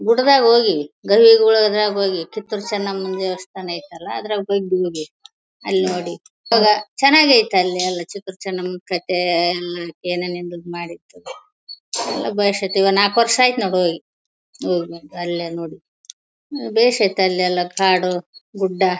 ಗುಡ್ಡದಾಗ ಹೋಗಿ ಹೋಗಿ ಕಿತ್ತುರು ಚೆನ್ನಮ್ಮ ದೇವಸ್ಥಾನ ಐತೆ ಅಲ್ಲ ಅದ್ರಲ್ ಹೋಗಿ ನೋಡಿ ಅಲ್ ನೋಡಿ ಚೆನ್ನಾಗ್ ಐತೆ ಅಲ್ಲಿ ಎಲ್ಲಾ ಕಿತ್ತುರ್ ಚೆನ್ನಮ್ಮನ್ ಕಥೆ ಏನೇನ್ ನಿಂದಿದ್ ಮಾಡಿದ್ರು ಎಲ್ಲಾ ಬೇಸ್ ಐತೆ ನಾಲಕ್ ವರ್ಷ ಆಯ್ತ್ ನಾವ್ ಹೋಗಿ ಅಲ್ಲೆಲ್ಲ ನೋಡಿ ಬೇಸ್ ಆಯ್ತ್ ಅಲ್ಲೆಲ್ಲ ಕಾಡು ಗುಡ್ಡ .